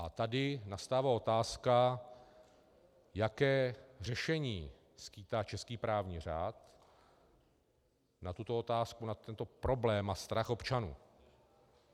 A tady nastává otázka, jaké řešení skýtá český právní řád na tuto otázku, na tento problém a strach občanů.